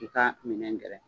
I ka minɛn gɛrɛ